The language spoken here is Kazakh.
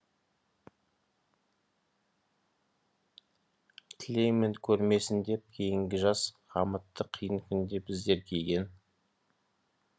тілеймін көрмесін деп кейінгі жас қамытты қиын күнде біздер киген